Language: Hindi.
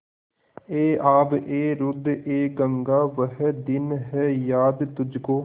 ऐ आबएरूदएगंगा वह दिन हैं याद तुझको